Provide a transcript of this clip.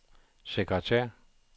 sekretær